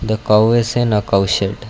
the cow is in cow shed.